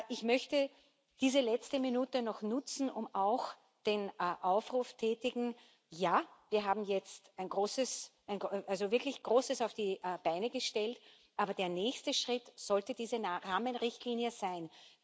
Ich möchte diese letzte Minute noch nutzen und auch den Aufruf tätigen Ja, wir haben jetzt wirklich Großes auf die Beine gestellt, aber der nächste Schritt sollte diese Rahmenrichtlinie sein.